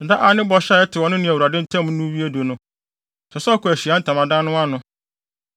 “Da a ne bɔhyɛ a ɛtew ɔno ne Awurade ntam no wie du no, ɛsɛ sɛ ɔkɔ Ahyiae Ntamadan no ano.